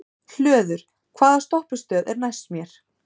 Hlöður, hvaða stoppistöð er næst mér?